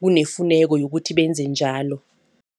kunefuneka yokuthi benze njalo.